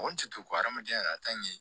O jate ko hadamadenya la ka taa ɲɛ